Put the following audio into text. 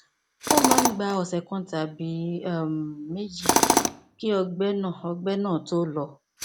ó máa ń gba ọsẹ kan tàbí um méjì kí ọgbẹ náà ọgbẹ náà tó lọ